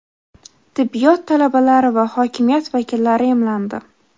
tibbiyot talabalari va hokimiyat vakillari emlandi.